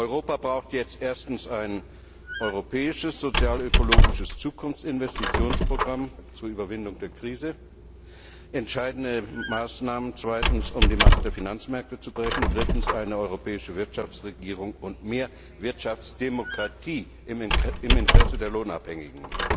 Europa braucht jetzt erstens ein europäisches sozialökologisches Zukunftsinvestitionsprogramm zur Überwindung der Krise, zweitens entscheidende Maßnahmen, um die Macht der Finanzmärkte zu brechen, und drittens eine europäische Wirtschaftsregierung und mehr Wirtschaftsdemokratie im Interesse der Lohnabhängigen.